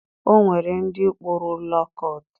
O nwere ndị kpụrụ lo kọt.